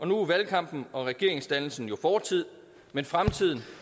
nu er valgkampen og regeringsdannelsen fortid men fremtiden